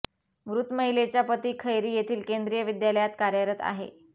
मृत महिलेचा पती खैरी येथील केंद्रीय विद्यालयात कार्यरत आहे